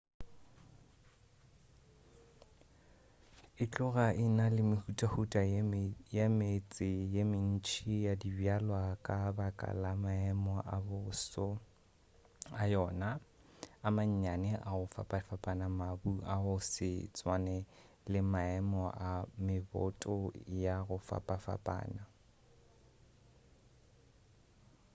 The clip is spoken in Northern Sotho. e tloga e na le mehutahuta ya metse ye mentši ya dibjalwa ka baka la maemo a boso a yona a mannyane a go fapafapana mabu a go se tswane le maemo a meboto a go fapana